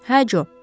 Hə Jo.